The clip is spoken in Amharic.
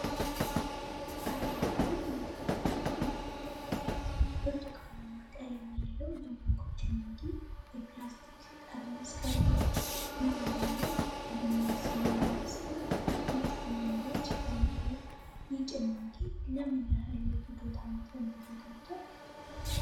አረንጓዴ መክደኛና መለያ ያለው፣ ብርቱካናማ ቀለም ያለው የማንጎ ጭማቂ የፕላስቲክ ጠርሙስ ቀርቧል። መለያው ላይ 'Maaza MANGO' የሚል ስም ያለው ሲሆን፣ ሁለት ማንጎዎች ይታያሉ። ይህ ጭማቂ ለምን ያህል የፍጆታ መጠን ተዘጋጀ?